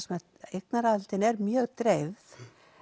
að eignaraðildin er mjög dreifð